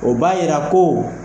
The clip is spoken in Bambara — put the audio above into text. O b'a yira ko